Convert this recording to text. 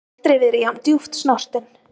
Aldrei verið jafn djúpt snortinn.